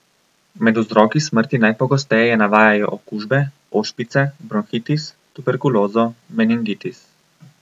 Med vzroki smrti najpogosteje navajajo okužbe, ošpice, bronhitis, tuberkulozo, meningitis.